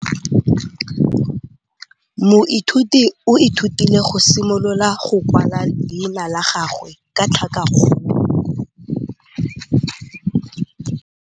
Moithuti o ithutile go simolola go kwala leina la gagwe ka tlhakakgolo.